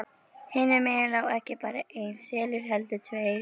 Hinum megin lá ekki bara EINN selur heldur TVEIR!